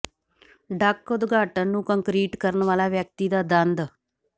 ਡਕ ਉਦਘਾਟਨ ਨੂੰ ਕੰਕਰੀਟ ਕਰਨ ਵਾਲਾ ਵਿਅਕਤੀ ਦਾ ਦੰਦ